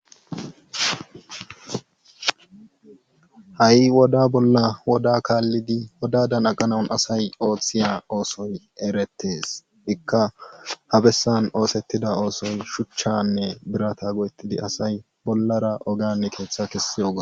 Ha'i woda bolla woda kaalidi wodadan aqanawu asay oothiya oosoy eretees. ikka ha bessan oosetida oosoy shuchchanne birata go'etidi asay bollara ogiyani keeththa keexiyoga.